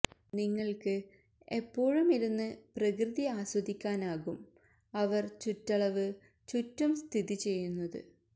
നിങ്ങൾക്ക് എപ്പോഴും ഇരുന്ന് പ്രകൃതി ആസ്വദിക്കാനാകും അവർ ചുറ്റളവ് ചുറ്റും സ്ഥിതി ചെയ്യുന്നത്